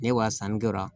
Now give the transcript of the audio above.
Ne wa sanni kɛra